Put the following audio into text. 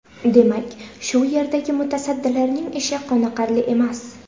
Demak, shu yerdagi mutasaddilarning ishi qoniqarli emas.